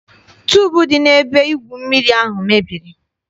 Tuubu dị n'ebe igwu mmiri ahụ mebiri.